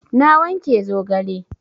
Na wanke zogale